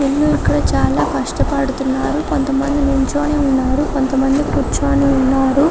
వీలు ఇక్కడ చాలా కష్టపడుతున్నారు కొంత మంది కూర్చొని ఉన్నారు కొంత మంది నిల్చొని ఉన్నారు .